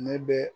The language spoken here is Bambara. Ne bɛ